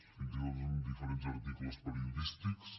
fins i tot en diferents articles periodístics